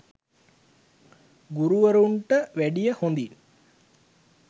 ගුරුවරුන්ට වැඩිය හොඳින්